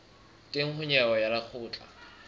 teng ho nyewe ya lekgotla